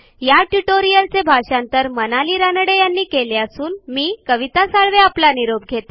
ह्या ट्युटोरियलचे मराठी भाषांतर मनाली रानडे यांनी केले असून मी कविता साळवे आपला निरोप घेते